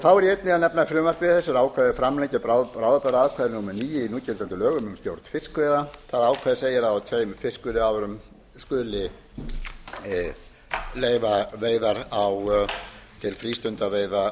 þá er einnig að nefna að í frumvarpi þessu er ákvæði um að framlengja bráðabirgðaákvæði númer níu í núgildandi lögum um stjórn fiskveiða það ákvæði segir að á tveimur fiskveiðiárum skuli leyfa veiðar til frístundaveiða